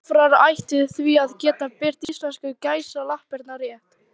Vafrar ættu því að geta birt íslensku gæsalappirnar rétt.